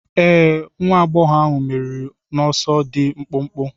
Ee. nwa agbọghọ ahụ meriri n'ọsọ dị mkpụmkpụ.